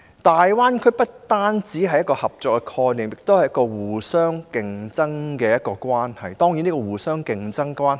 大灣區不單是一個合作的概念，也涉及城市之間互相競爭的關係。